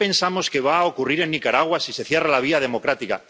¿Qué pensamos que va a ocurrir en Nicaragua si se cierra la vía democrática?